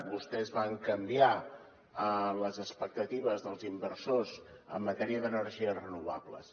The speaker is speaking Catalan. vostès van canviar les expectatives dels inversors en matèria d’energies renovables